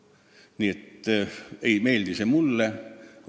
Nii et ei meeldi see mulle.